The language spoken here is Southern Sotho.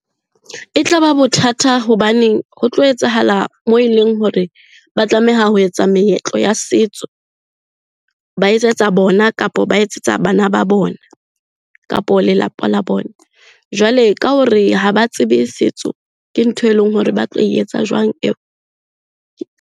E tla ba bothata hobaneng ho tlo etsahala moo e leng hore ba tlameha ho etsa meetlo ya setso, ba etsetsa bona, kapo ba etsetsa bana ba bona kapo lelapa la bona. Jwale ka hore ha ba tsebe setso, ke ntho e leng hore ba tlo etsa jwang eo?